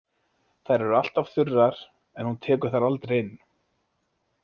Þær eru alltaf þurrar, en hún tekur þær aldrei inn.